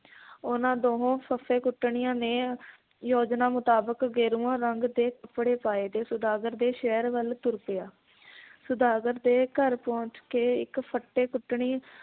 ਉਹਨਾਂ ਦੋਹੋਂ ਫੱਫੇ ਕੁੱਟਣੀਆਂ ਨੇ ਯੋਜਨਾ ਮੁਤਾਬਕ ਗੇਰੂਆਂ ਰੰਗ ਦੇ ਕੱਪੜੇ ਪਾਏ ਤੇ ਸੌਦਾਗਰ ਦੇ ਸ਼ਹਿਰ ਵੱਲ ਤੁਰ ਪਿਆ ਸੌਦਾਗਰ ਦੇ ਘਰ ਪਹੁੰਚ ਕੇ ਇੱਕ ਫੱਟੇ ਕੁੱਟਣੀ